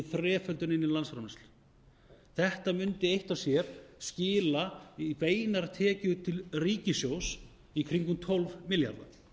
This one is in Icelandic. þreföldun inn í landsframleiðsluna þetta mundi eitt og sér skila í beinar tekjur til ríkissjóðs í kringum tólf milljarða